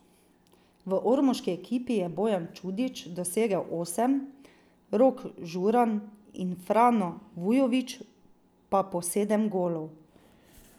V ormoški ekipi je Bojan Čudič dosegel osem, Rok Žuran in Frano Vujović pa po sedem golov.